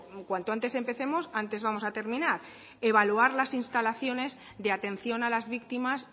cuanto antes empecemos antes vamos a terminar con evaluar las instalaciones de atención a las víctimas